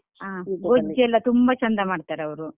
ಗೊಜ್ಜುಯೆಲ್ಲಾ ತುಂಬಾ ಚಂದ ಮಾಡ್ತಾರೆ ಅವ್ರು.